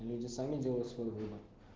люди сами делают свой выбор